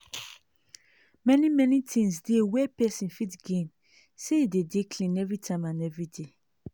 many many things dey we pesin fit gain say e dey dey clean everytime and every day